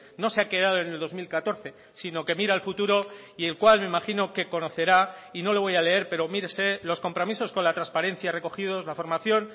no se ha quedado en el dos mil catorce sino que mira al futuro y el cual me imagino que conocerá y no le voy a leer pero mírese los compromisos con la transparencia recogidos la formación